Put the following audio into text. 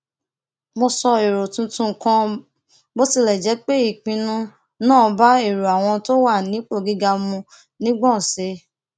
mo sọ èrò tuntun kan bó tilè jé pé ìpinnu náà bá èrò àwọn tó wà nípò gíga mu nígbòóṣe